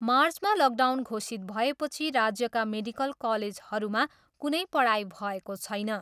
मार्चमा लकडाउन घोषित भएपछि राज्यका मेडिकल कलेजहरूमा कुनै पढाइ भएको छैन।